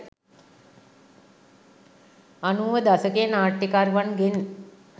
අනූව දශකයේ නාට්‍යකරුවන්ගෙන්